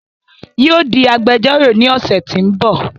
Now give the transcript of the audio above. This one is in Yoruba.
Yóò di agbẹjọ́rọ̀ ní ọ̀sẹ̀ tí ń bò